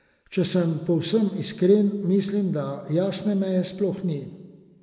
Če sem povsem iskren, mislim, da jasne meje sploh ni.